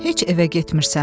Heç evə getmirsən?